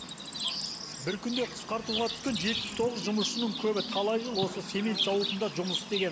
бір күнде қысқартуға түскен жетпіс тоғыз жұмысшының көбі талай жыл осы цемент зауытында жұмыс істеген